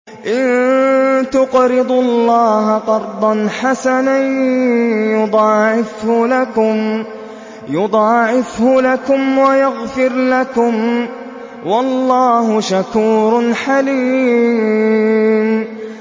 إِن تُقْرِضُوا اللَّهَ قَرْضًا حَسَنًا يُضَاعِفْهُ لَكُمْ وَيَغْفِرْ لَكُمْ ۚ وَاللَّهُ شَكُورٌ حَلِيمٌ